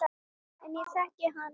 En ég þekki hana.